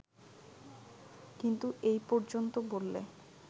কিন্তু এই পর্যন্ত বললে